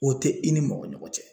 O te i ni mɔgɔ ɲɔgɔn cɛ